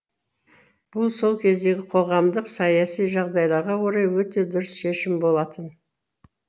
бұл сол кездегі қоғамдық саяси жағдайларға орай өте дұрыс шешім болатын